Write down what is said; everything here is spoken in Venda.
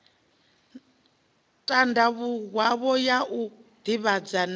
tandavhuwaho ya u divhadza na